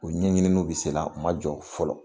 U ɲɛɲiniiniw bɛ sen na , u ma jɔ fɔlɔ .